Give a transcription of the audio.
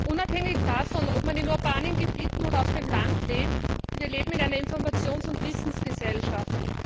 Unabhängig davon, ob man in urbanen Gebieten oder auf dem Land lebt Wir leben in einer Informations und Wissensgesellschaft.